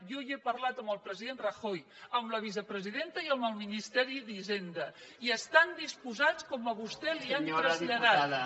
jo hi he parlat amb el president rajoy amb la vicepresidenta i amb el ministeri d’hisenda i estan disposats com a vostè li ho han traslladat